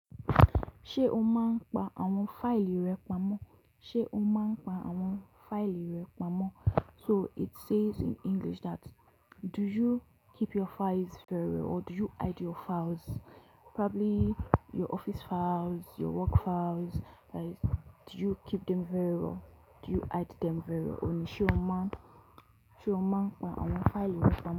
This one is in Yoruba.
Ṣé o máa ń pa àwọn fáìlì rẹ pamọ́? Ṣé o máa ń pa àwọn fáìlì rẹ pamọ́? So it says in English that, do you keep your files very well or do you hide your files? Probably your office files, your work files, like, do you keep them very well? Do you hide them very well? Ò ní, ṣe o máa ń, ṣe o máa ń pa àwọn fáìlì rẹ pamọ́